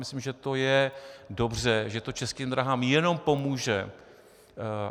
Myslím, že to je dobře, že to Českým dráhám jen pomůže.